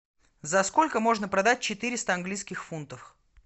за сколько можно продать четыреста английских фунтов